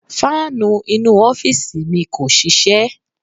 Fáànù inú u ọ́fíìsì mi kò ṣiṣẹ́.